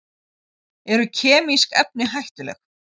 Eru kemísk efni hættuleg?